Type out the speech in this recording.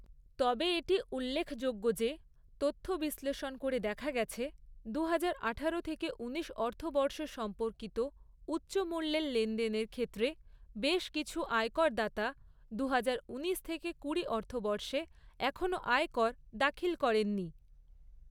তবে এটি উল্লেখযোগ্য যে তথ্য বিশ্লষণ করে দেখা গেছে, দুহাজার আঠারো থেকে উনিশ অর্থবর্ষ সম্পর্কিত উচ্চমূল্যের লেনদেনের ক্ষেত্রে বেশ কিছু আয়করদাতা, দুহাজার উনিশ থেকে কুড়ি অর্থবর্ষে এখনও আয়কর দাখিল করেন নি।